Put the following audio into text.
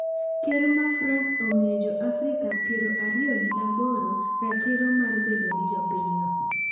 Ker ma frans omiyo jo afrika piero ariyo gi aboro ratiro mar bedo jo pinyno.